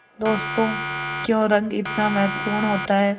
दोस्तों क्यों रंग इतना महत्वपूर्ण होता है